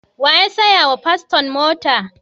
Wa ya saya wa paston mota?